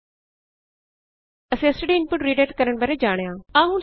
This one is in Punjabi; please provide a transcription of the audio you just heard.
ਇਸ ਤਰਹ ਅਸੀਂ ਸਟੈਂਡਰਡ ਇਨਪੁਟ ਰੀਡਾਇਰੈਕਟ ਕਰਨ ਬਾਰੇ ਜਾਣਿਆ